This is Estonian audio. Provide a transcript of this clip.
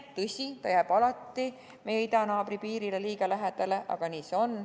Tõsi, ta jääb alati meie idanaabri piirile liiga lähedale, aga nii see on.